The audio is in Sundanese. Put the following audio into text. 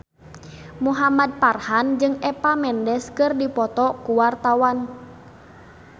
Muhamad Farhan jeung Eva Mendes keur dipoto ku wartawan